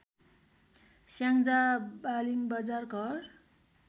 स्याङ्जा वालिङ्बजार घर